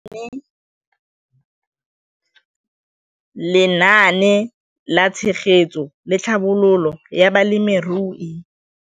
Lenaane la Tshegetso le Tlhabololo ya Balemirui